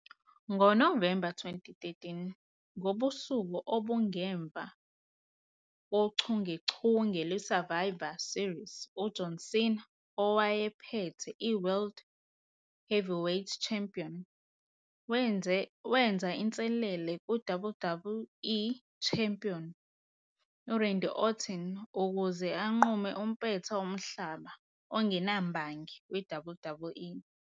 NgoNovemba 2013, ngobusuku obungemva kochungechunge lwe-Survivor Series, u-John Cena owayephethe i-World Heavyweight Champion wenza inselele ku-WWE Champion u- Randy Orton ukuze anqume umpetha womhlaba ongenambangi we-WWE.